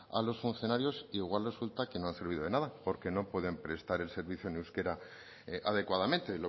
a los funcionarios igual resulta que no han servido de nada porque no pueden prestar el servicio en euskera adecuadamente